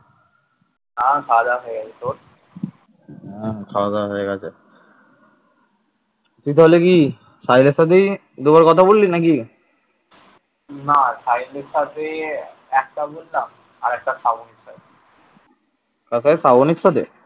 কার সাথে শ্রাবনীর সাথে?